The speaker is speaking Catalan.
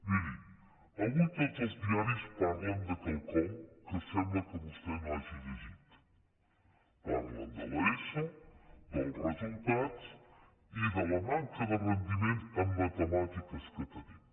miri avui tots els diaris parlen de quelcom que sembla que vostè no hagi llegit parlen de l’eso dels resultats i de la manca de rendiment en matemàtiques que tenim